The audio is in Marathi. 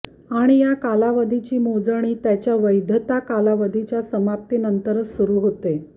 आणि या कालावधीची मोजणी त्याच्या वैधता कालावधीच्या समाप्ती नंतरच सुरु होते